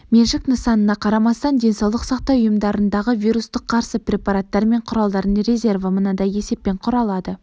меншік нысанына қарамастан денсаулық сақтау ұйымдарындағы вирусқа қарсы препараттар мен құралдардың резерві мынадай есеппен құралады